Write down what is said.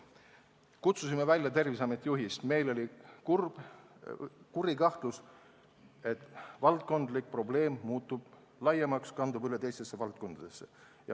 Me kutsusime välja Terviseameti juhi, sest meil oli kuri kahtlus, et valdkondlik probleem muutub laiemaks ja kandub üle teistesse valdkondadesse.